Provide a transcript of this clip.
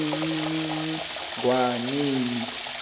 emininingwaneni